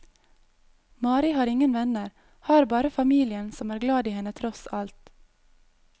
Mari har ingen venner, har bare familien som er glad i henne tross alt.